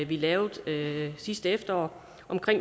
vi lavede sidste efterår om